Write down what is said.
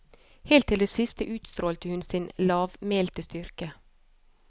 Helt til det siste utstrålte hun sin lavmælte styrke.